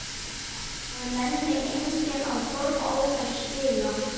Að það nenni enginn að horfa á þær spila?